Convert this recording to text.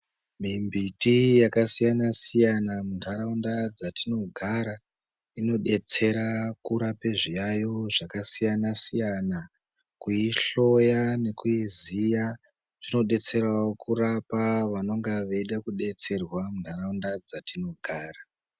Mimbiti yakasiyana siyana mundaraunda dzatinogara inodetsera kurape zviyaiyo zvakasiyana siyana kuihloya nekuiziya zvinodetserawo kurapa vanenga veida kusetserwa mundaraunda dzatinogara.